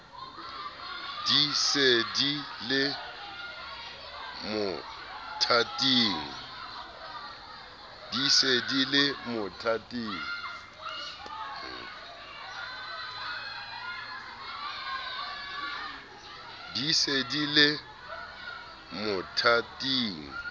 di se di le mothating